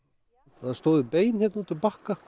það stóðu bein hérna út úr bakka